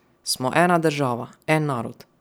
Smo ena država, en narod.